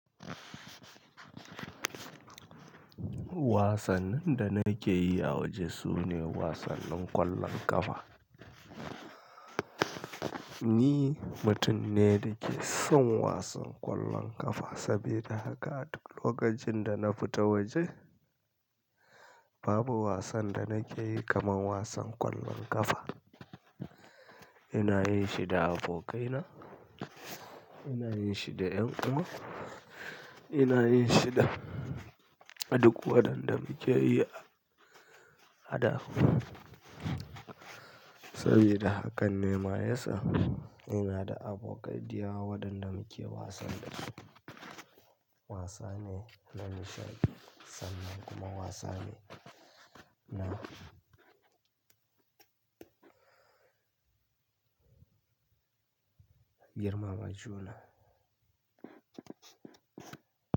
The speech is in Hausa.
Wasannin da nake yi a waje sune wasannin ƙwallon ƙafa. Ni mutum ne da ke son wasan ƙwallon ƙafa saboda haka a duk lokacin da na fita waje, babu wasan da nake yi kamar wasan ƙwallon ƙafa. Ina yin shi da abokaina, ina yin shi da ƴan uwa, ina yin shi da a duk wadanda muke yi ada. Sabida hakan ne ma yasa ina da abokai dayawa wadanda muke wasan da su. Wasane na nishaɗi sannan kuma wasane na girmama juna.